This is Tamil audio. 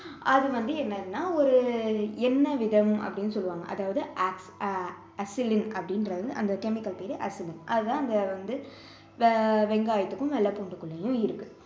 அது வந்து என்னதுன்னா ஒரு எண்ணெய் விதம் அப்படின்னு சொல்லுவாங்க அதாவது allicin அப்படிங்கிறது வந்து அந்த chemical பெயர் allicin அதுதான் அந்த வந்து வெங்காயத்துக்கும் வெள்ளை பூண்டுக்குள்ளேயும் இருக்கு